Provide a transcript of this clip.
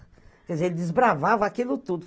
Quer dizer, ele desbravava aquilo tudo.